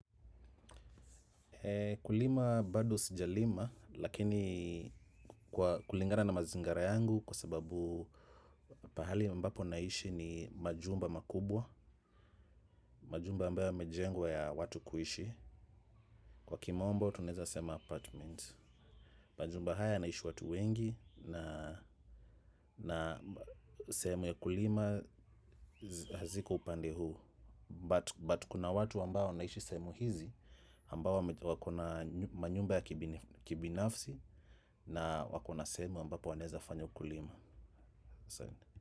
Kulima bado sijalima lakini kulingana na mazingara yangu kwa sababu pahali ambapo naishi ni majumba makubwa, majumba ambayo yamejengwa ya watu kuishi. Kwa kimombo tunaeza sema apartment. Majumba haya naishi watu wengi na sehemu ya kulima haziko upande huu. But kuna watu ambao wanaishi sehemu hizi ambao wako na manyumba ya kibinafsi, na wako na sehemu ambapo wanaeza fanya ukulima.